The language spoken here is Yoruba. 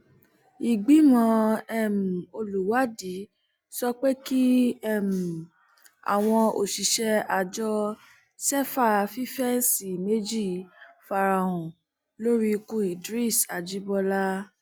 ìgbìmọ um olùwádìí sọ pé kí um àwọn òṣìṣẹ àjọ sefa fífẹǹsì méjì fara hàn lórí ikú idris ajibọlá